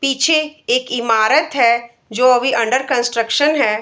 पीछे एक ईमारत है जो अभी अंडर कंट्रक्शन है।